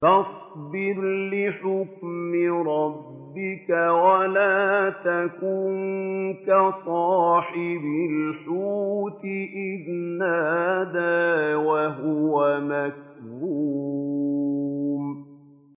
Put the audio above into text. فَاصْبِرْ لِحُكْمِ رَبِّكَ وَلَا تَكُن كَصَاحِبِ الْحُوتِ إِذْ نَادَىٰ وَهُوَ مَكْظُومٌ